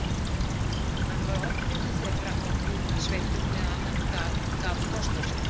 Hann var oddviti þeirra á útsveitum meðan hann gaf kost á sér.